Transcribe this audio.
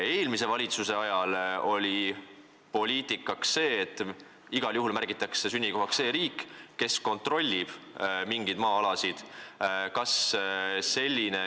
Eelmise valitsuse ajal oli see poliitika, et igal juhul märgitakse sünnikohaks see riik, kes mingeid maa-alasid kontrollib.